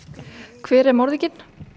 hver er morðinginn